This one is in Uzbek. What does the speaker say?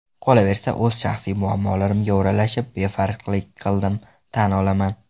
Qolaversa, o‘z shaxsiy muammolarimga o‘ralashib, befarqlik qildim, tan olaman.